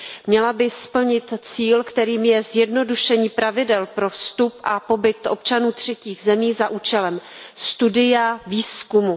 Měla by splnit cíl, kterým je zjednodušení pravidel pro vstup a pobyt občanů třetích zemí za účelem studia, výzkumu.